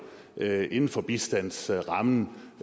med inden for bistandsrammen